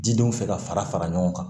Jidenw fɛ ka fara fara ɲɔgɔn kan